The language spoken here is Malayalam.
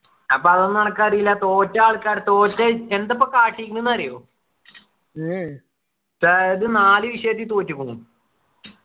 അപ്പൊ അതൊന്നും അനക്ക് അറീല തോറ്റ ആള്ക്കാ തോറ്റ് എന്താപ്പോ കാട്ടിക്കണ് ന്നു അറിയോ അതായത് നാല് വിഷയത്തിൽ തോറ്റുക്കുണ്